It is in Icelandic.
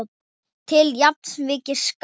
til jafns við skáta.